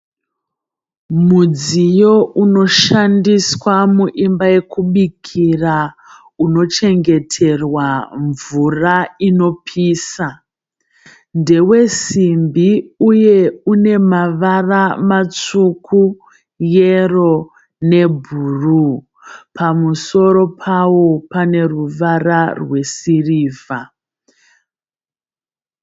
Mudziyo unoshandiswa muimba yekukubikira. Unochengeterwa mvura inopisa. Ndewe simbi uye une mavara matsvuku, yero nebhuru. Pamusoro pawo pane ruvara rwesirivha.